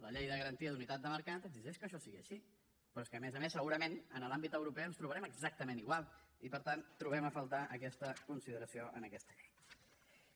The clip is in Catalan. la llei de garantia d’unitat de mercat exigeix que això sigui així però és que a més a més segurament en l’àmbit europeu ens trobarem exactament igual i per tant trobem a faltar aquesta consideració en aquesta llei